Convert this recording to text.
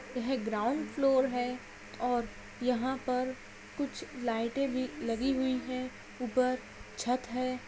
यह ground floor है और यहां पर कुछ लाईटे भी लगी हुई है ऊपर छत है।